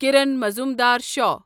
کِرن معظوٗمدار شعو